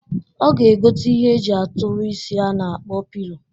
Ọ ga-egota ihe e ji atụlụ isi a na-akpọ pilo.